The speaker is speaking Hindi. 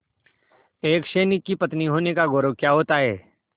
एक सैनिक की पत्नी होने का गौरव क्या होता है